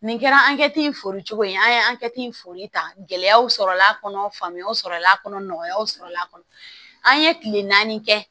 Nin kɛra an kɛti fori cogo ye an ye an kɛ tin foli ta gɛlɛyaw sɔrɔla kɔnɔ faamuyaw sɔrɔla nɔgɔyaw sɔrɔla a kɔnɔ an ye kile naani kɛ